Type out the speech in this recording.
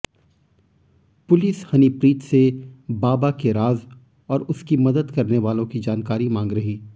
police Honeypreet से बाबा के राज और उसकी मदद करने वालों की जानकारी मांग रही